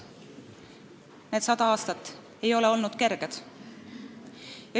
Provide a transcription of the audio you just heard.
Need aastad ei ole olnud kerged.